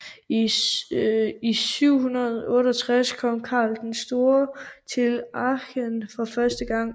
I 768 kom Karl den Store til Aachen for første gang